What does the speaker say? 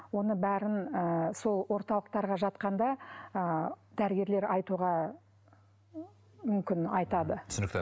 оны бәрін ыыы сол орталықтарға жатқанда ы дәрігерлер айтуға ыыы мүмкін айтады түсінікті